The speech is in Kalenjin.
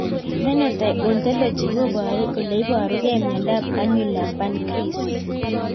Phenotype ontology koparu ole iparukei miondop Annular pancrease